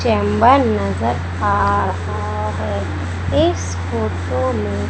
Chamber नजर आ रहा है इस फोटो में।